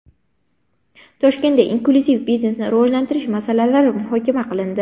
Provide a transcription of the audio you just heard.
Toshkentda inklyuziv biznesni rivojlantirish masalalari muhokama qilindi.